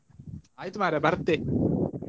ಆಯ್ತು ಮಾರ್ರೆ ಬರ್ತೆ.